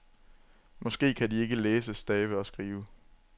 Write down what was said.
Måske kan de ikke læse, stave og skrive.